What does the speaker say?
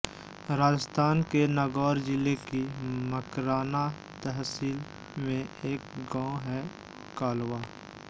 राजस्थान के नागौर जिले की मकराना तहसील में एक गांव है कालवा